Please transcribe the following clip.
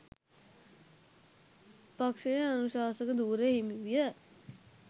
පක්ෂයේ අනුශාසක ධුරය හිමි විය.